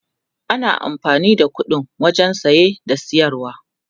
ana amfani da ƙuɗi wajen saye da siyarwa